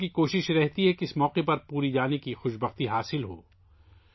لوگوں کی کوشش ہے کہ انہیں اس موقع پر پوری جانے کی سعادت حاصل ہو